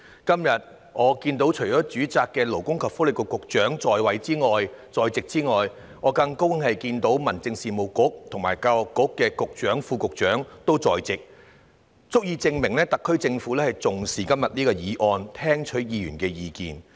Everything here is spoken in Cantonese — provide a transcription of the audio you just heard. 然而，今天除了主責的勞工及福利局局長在席外，我很高興看到民政事務局局長和教育局副局長同樣在席，足以證明特區政府重視今天這項議案，願意聽取議員的意見。